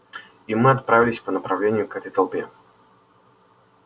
и мы отправились по направлению к этой толпе